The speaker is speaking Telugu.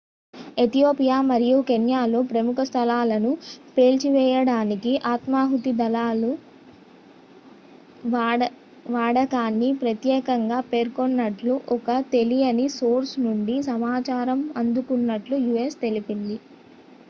"ethiopia మరియు kenyaలో "ప్రముఖ స్థలాలను" పేల్చివేయడానికి ఆత్మహుతి దళాల వాడకాన్ని ప్రతేకంగా పేర్కొన్నట్లు ఒక తెలియని సోర్స్ నుండి సమాచారం అందుకున్నట్లు u.s. తెలిపింది.